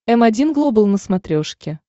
м один глобал на смотрешке